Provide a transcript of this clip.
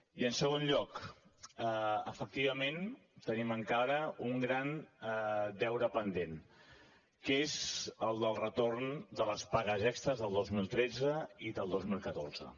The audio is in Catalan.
i en segon lloc efectivament tenim encara un gran deure pendent que és el del retorn de les pagues extres del dos mil tretze i del dos mil catorze